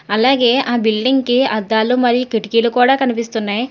అలాగే ఆ బిల్డింగ్ కి అద్దాలు మరియు కిటికీలు కూడా కనిపిస్తున్నాయ్.